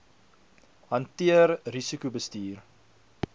hanteer risiko bestuur